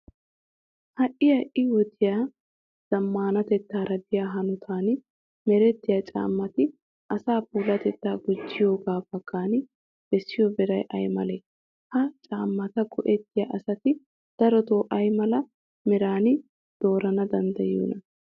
Ha"i ha"i wodiya zammaanatettaara biya hanotan merettiya caammati asaa puulatettaa gujjiyogaa baggan bessiyo beeray ay malee? Ha caammata go"ettiya asati darotoo ay mala meraa doorana danddayiyoonaa?